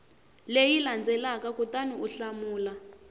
leyi landzelaka kutani u hlamula